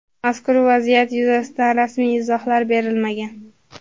Mazkur vaziyat yuzasidan rasmiy izohlar berilmagan.